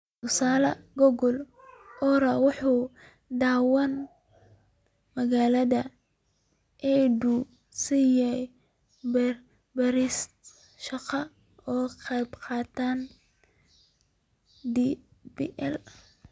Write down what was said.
Tusaale ahaan, Google.org waxay dhawaan maalgalisay EIDU si ay u balaariso shaqada AI ee qalabkeeda DPL.